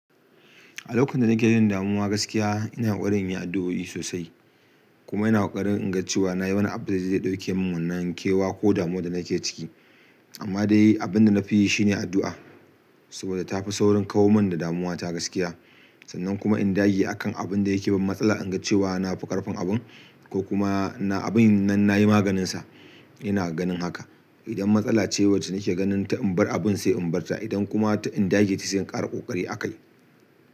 A lokacin da nake jin damuwa gaskiya, ina ƙoƙari inyi addu'o'i sosai. Kuma ina ƙoƙari inga cewa nayi wani abu da zai ɗebe mun wannan kewa ko damuwan da nake ciki amma dai abin da na fi yi shine addu'a saboda tafi saurin kawar mun da damuwa ta gaskiya. Sannan kuma in dage a kan abin da yake ban matsala, in ga cewa na fi ƙarfin abun ko kuma na abin nan na yi maganinsa. Ina ganin haka. Idan matsala ce wacce nake ganin ta in bar abun sai in bar ta. Idan kuma ta in dage ta sai in ƙara ƙoƙari a kai.